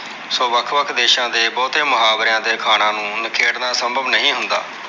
so ਵੱਖ-ਵੱਖ ਦੇਸਾਂ ਦੇ ਬਹੁਤੇ ਮੁਹਾਵਰਿਆਂ ਦੇ ਅਖਾਣਾ ਨੂੰ ਨਖੇੜਨਾ ਸੰਭਵ ਨਹੀਂ ਹੁੰਦਾ।